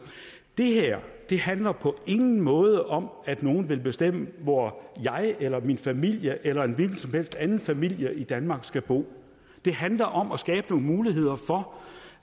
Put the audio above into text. det her handler på ingen måde om at nogen vil bestemme hvor jeg eller min familie eller en hvilken som helst anden familie i danmark skal bo det handler om at skabe nogle muligheder for